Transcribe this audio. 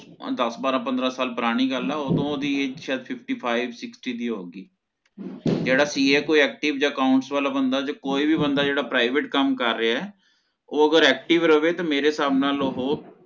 ਦਸ ਬਾਰਹ ਪੰਦ੍ਰ ਸਾਲ ਪੁਰਾਨੀ ਗਲ ਹੈ ਓਹ੍ਡੋ ਓਹਦੀ Age ਸ਼ਾਇਦ fifty five sixty ਹੋਊਗੀ ਜੇਹੜਾ CA ਜਾ ਕੋਈ Accounts ਬੰਦਾ ਜਾ ਕੋਈ ਵੀ ਬੰਦਾ ਜੇਹੜਾ Private ਕੰਮ ਰਿਹਾ ਓਹ ਅਗਰ Active ਰਵੇ ਤਾ ਮੇਰੇ ਹਿਸਾਬ ਨਾਲ ਓਹ